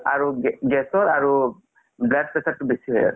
আৰু gas ৰ আৰু blood pressure তো বেচি হয় আছে